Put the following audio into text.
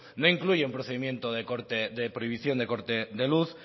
no incluye un procedimiento de prohibición de corte de luz